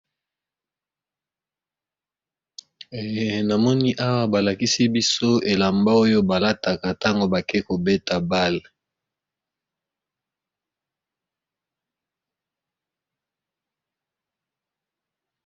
Na moni awa balakisi biso elamba oyo balataka ntango bake kobeta bale.